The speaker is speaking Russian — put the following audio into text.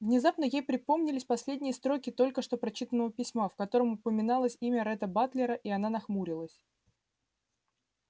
внезапно ей припомнились последние строки только что прочитанного письма в котором упоминалось имя ретта батлера и она нахмурилась